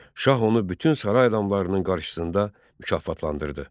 Şah onu bütün saray adamlarının qarşısında mükafatlandırdı.